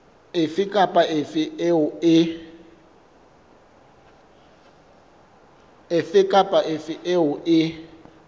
efe kapa efe eo e